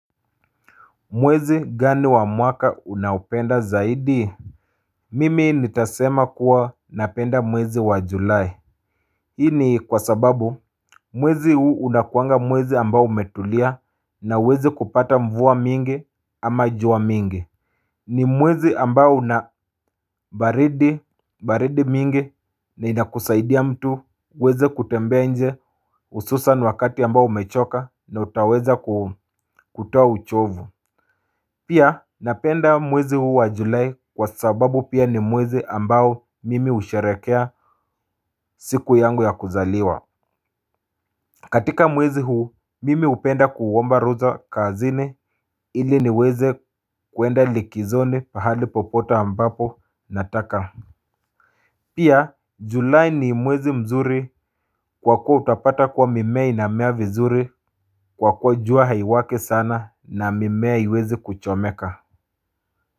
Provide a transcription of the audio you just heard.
Mwezi gani wa mwaka unaupenda zaidi? Mimi nitasema kuwa napenda mwezi wa julai hii ni kwa sababu mwezi huu unakuanga mwezi ambao umetulia na huwezi kupata mvua mingi ama jua mingi. Ni mwezi ambao unabaridi mingi. Linakusaidia mtu kuweza kutembea nje. Hususan wakati ambao umechoka na utaweza kutoa uchovu. Pia napenda mwezi huu wa julai kwa sababu pia ni mwezi ambao mimi husherekea siku yangu ya kuzaliwa. Katika mwezi huu mimi hupenda kuomba ruza kazini ili niweze kuenda likizoni pahali popote ambapo nataka. Pia julai ni mwezi mzuri kwa kuwa utapata kuwa mimea inamea vizuri kwa kuwa jua haiwaki sana na mimea haiwezi kuchomeka.